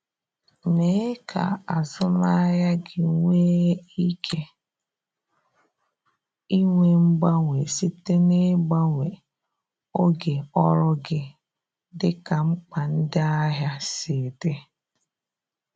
Mee ka azụmahịa gị nwee ike inwe mgbanwe site n’ịgbanwe oge ọrụ gị dịka mkpa ndị ahịa si dị.